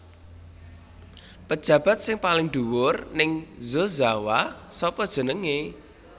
Pejabat sing paling dhuwur ning Yozawa sapa jenenge